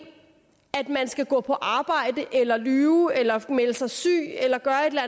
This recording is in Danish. at man skal gå på arbejde eller lyve eller melde sig syg eller gøre